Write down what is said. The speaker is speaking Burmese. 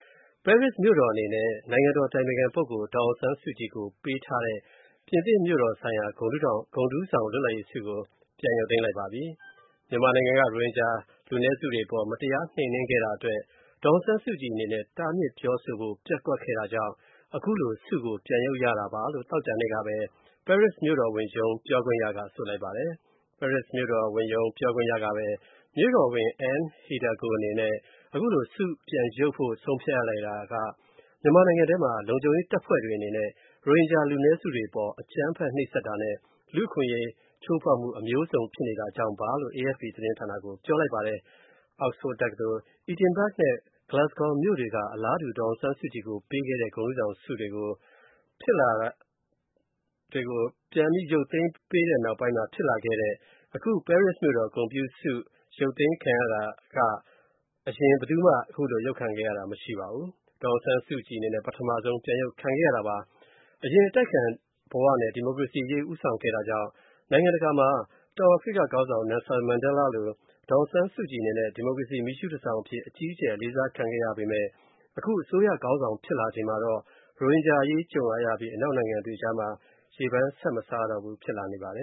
ပဲရစ်မြို့တော်အနေနဲ့ နိုင်ငံတော် အတိုင်ပင်ခံပုဂ္ဂိုလ် ဒေါ်အောင်ဆန်းစုကြည်ကိုပေးထားတဲ့ ပြင်သစ်မြို့တော်ဆိုင်ရာ ဂုဏ်ထူးဆောင်လွတ်လပ်ရေးဆုကို ပြန်ရုပ်သိမ်းမယ်လို့ ပဲရစ်မြို့တော်ဝန်ရုံးက ပြောလိုက်ပါတယ်။ မြန်မာနိုင်ငံက ရိုဟင်ဂျာလူနည်းစုတွေအပေါ် မတရားနှိမ်နင်းခဲ့တာအတွက် ဒေါ်အောင်ဆန်း စုကြည်အနေနဲ့ တားမြစ်ပြောဆိုဖို့ ပျက်ကွက်ခဲ့တာကြောင့် ခုလို ဆုကို ပြန်ရုပ်မှာဖြစ်ကြောင်း့ သောကြာနေ့က ပဲရစ် မြို့တော်ဝန်ရုံး ပြောခွင့်ရက ဆိုပါတယ်။ ပဲရစ်မြို့တော်ဝန်ရုံး ပြောခွင့်ရကပဲ မြို့တော်ဝန် Anne Hidalgo အနေနဲ့ ခုလို ဆုပြန်ရုပ်ဖို့ ဆုံးဖြတ်ရတာက မြန်မာနိုင်ငံထဲမှာ လုံခြုံရေးတပ်ဖွဲ့တွေအနေနဲ့ ရိုဟင်ဂျာလူနည်းစုတွေအပေါ် အကြမ်းဖက်နှိပ်စက်တာနဲ့ လူ့အခွင့်အရေးချိုးဖောက်မှု အမျိုးစံြုဖစ်တာကြောင့်ပါလို့ AFP သတင်းဌာနကို ပြောလိုက်ပါတယ်။ Oxford တက္ကသိုလ်၊ Edinburg နဲ့ Glasgow မြို့တွေက အလားတူ ဒေါ်အောင်ဆုကြည်ကိုပေးခဲ့တဲ့ ဂုဏ်ထူးဆောင်ဆုတွေကို ဖြစ်လာတဲ့ အခု ပဲရစ်မြို့တော် ဂုဏ်ပြုဆုအတွက် အရင် ပြန်ရုပ်ခံရတာ ဘယ်သူမှမရှိခဲ့ဖူးဘဲ၊ ဒေါ်အောင်ဆန်းစုကြည် ပထမဆုံး ပြန်ရုပ်ခံခဲ့ရတာပါ။ အရင်အတိုက်အခံဘဝနဲ့ ဒီမိုကရေစီအရေးဦးဆောင်ခဲ့တာကြောင့် နိုင်ငံတကာမှာ တောင်အာဖရိက ခေါင်းဆောင် နယ်လ်ဆင်မဲန်ဒဲလားလို့ ဒီမိုကရေစီ မီးရှုးတန်ဆောင်အဖြစ် အကြီးအကျယ် အလေးစားခံခဲ့ရတဲ့ ဒေါ်အောင်ဆန်းစုကြည်ဟာ အခု အစိုးရခေါင်းဆောင်ဖြစ်လာချိန်မှာတော့ ရိုဟင်ဂျာအရေးကြုံလာပြီး အနောက်နိုင်ငံတွေအကြား ရေပန်းမစားတော့ဘူး ဖြစ်လာနေပါတယ